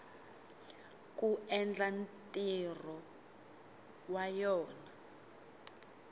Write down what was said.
ku endla ntirho wa yona